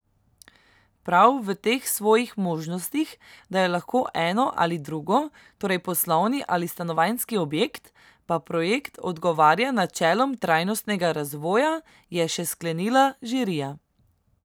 Prav v teh svojih možnostih, da je lahko eno ali drugo, torej poslovni ali stanovanjski objekt, pa projekt odgovarja načelom trajnostnega razvoja, je še sklenila žirija.